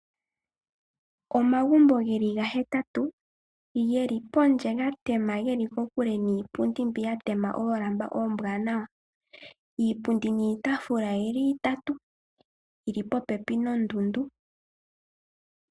Omagumbo geli gahetatu geli pondje ga tema ge li kokule niipundi mbyoka ya tema oolamba ombwaanawa. Iipundi niitafula oyi li itatu yi li popepi nondundu.